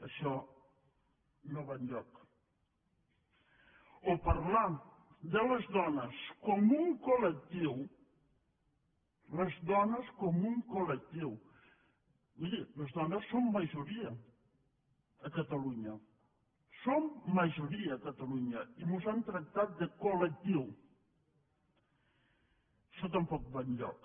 això no va enlloc o parlar de les dones com un col·lectiu les dones com un colmiri les dones som majoria a catalunya som majoria a catalunya i ens han tractat de coltampoc va enlloc